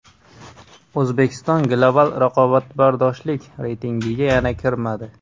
O‘zbekiston Global raqobatbardoshlik reytingiga yana kirmadi.